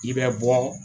I bɛ bɔ